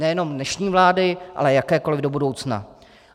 Nejenom dnešní vlády, ale jakékoliv do budoucna.